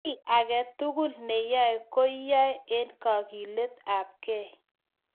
kiy agetugul ne yae ko iyai eng kakilet ab kei